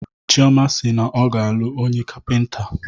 Chioma si na ọ ga-alụ onye Kapịnta.